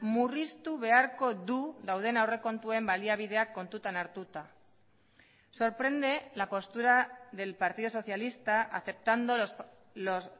murriztu beharko du dauden aurrekontuen baliabideak kontutan hartuta sorprende la postura del partido socialista aceptando los